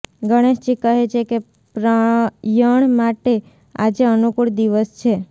ગણેશજી કહે છે કે પ્રયણ માટે આજે અનુકૂળ દિવસ છે